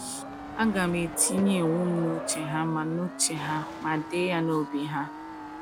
"Agam etinye iwu m n’uche ha ma n’uche ha ma dee ya n’obi ha."